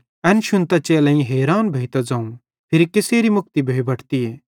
एन शुन्तां चेलेईं हैरान भोइतां ज़ोवं फिरी कसेरी मुक्ति भोइ बटतीए